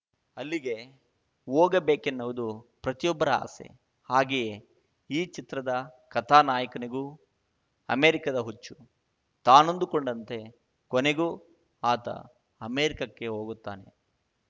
ಅಲ್ಲಿಗೆ ಹೋಗಬೇಕೆನ್ನುವುದು ಪ್ರತಿಯೊಬ್ಬರ ಆಸೆ ಹಾಗೆಯೇ ಈ ಚಿತ್ರದ ಕಥಾ ನಾಯಕನಿಗೂ ಅಮೆರಿಕದ ಹುಚ್ಚು ತಾನಂದುಕೊಂಡಂತೆ ಕೊನೆಗೂ ಆತ ಅಮೆರಿಕಕ್ಕೆ ಹೋಗುತ್ತಾನೆ